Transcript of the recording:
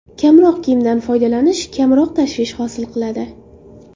Kamroq kiyimdan foydalanish kamroq tashvish hosil qiladi.